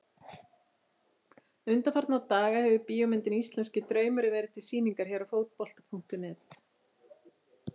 Undanfarna daga hefur bíómyndin Íslenski draumurinn verið til sýningar hér á Fótbolta.net.